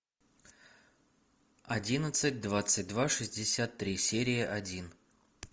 одиннадцать двадцать два шестьдесят три серия один